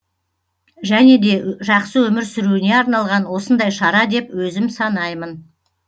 және де жақсы өмір сүруіне арналған осындай шара деп өзім санаймын